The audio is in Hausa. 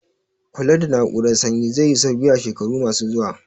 Kula da na'urar sanyi zai yi sauki a shekaru ma su zuwa